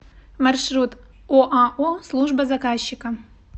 маршрут оао служба заказчика